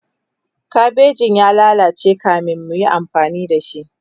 kabejin ya lallace kamin muyi amfani da shi